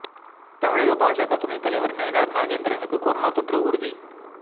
தமிழக பாஜக துணை தலைவர் நயினார் நாகேந்திரனுக்கு கொரோனா தொற்று உறுதி